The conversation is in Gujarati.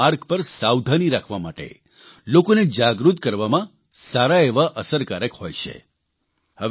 જેવા સૂત્રો માર્ગ પર સાવધાની રાખવા માટે લોકોને જાગૃત કરવામાં સારા એવા અસરકારક હોય છે